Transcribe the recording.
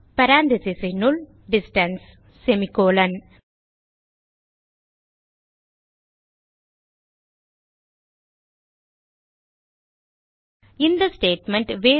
parentheses னுள் distance இந்த statement